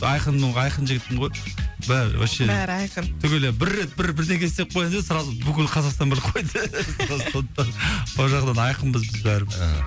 айқынмын ғой айқын жігітпін ғой бәрі вообще бәрі айқын түгелі бір рет бір бір бірдеңке істеп қойсаң сразу бүкіл қазақстан біліп қояды да сондықтан ол жағынан айқынбыз біз бәрі бір ыыы